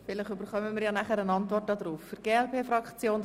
Vielleicht erhalten wir noch eine Antwort auf diese Frage.